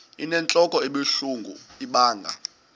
inentlok ebuhlungu ibanga